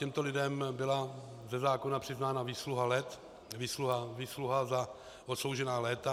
Těmto lidem byla ze zákona přiznána výsluha let, výsluha za odsloužená léta.